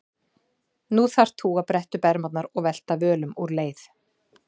Nú þarft þú að bretta upp ermarnar og velta völum úr leið.